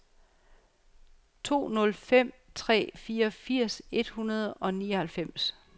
to nul fem tre fireogfirs et hundrede og nioghalvfems